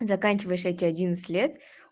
заканчиваешь эти одиннадцать лет